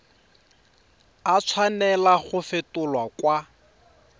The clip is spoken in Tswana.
a tshwanela go fetolwa kwa